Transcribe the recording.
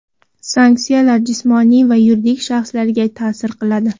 sanksiyalar jismoniy va yuridik shaxslarga ta’sir qiladi.